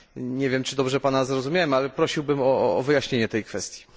Nie wiem, czy dobrze Pana zrozumiałem, ale prosiłbym o wyjaśnienie tej kwestii.